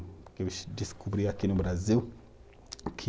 Porque eu descobri aqui no Brasil o que